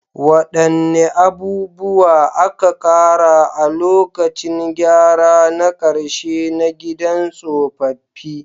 Wadanne abubuwa aka ƙara a lokacin gyara na karshe na gidan tsofaffi?